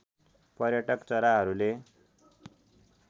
पर्यटक चराहरूले